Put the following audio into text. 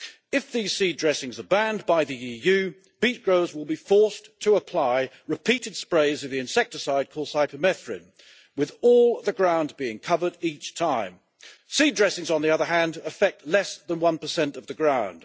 If these seed dressings are banned by the EU, beet growers will be forced to apply repeated sprays of the insecticide called cypermethrin, with all the ground being covered each time. Seed dressings, on the other hand, affect less than 1 of the ground.